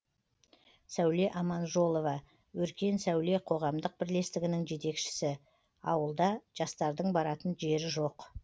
сәуле аманжолова өркен сәуле қоғамдық бірлестігінің жетекшісі ауылда жастардың баратын жері жоқ